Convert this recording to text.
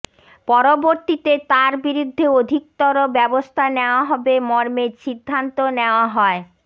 পরবর্তীতে তার বিরুদ্ধে অধিকতর ব্যবস্থা নেয়া হবে মর্মে সিদ্ধান্ত নেয়া হয়